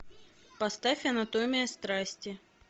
поставь анатомия страсти